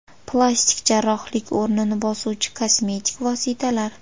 Plastik jarrohlik o‘rnini bosuvchi kosmetik vositalar.